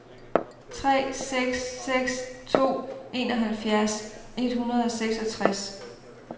tre seks seks to enoghalvfjerds et hundrede og seksogtres